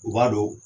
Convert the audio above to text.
U b'a dɔn